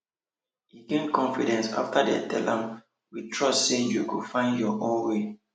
e gain confidence after dem tell am we trust say you go find your own way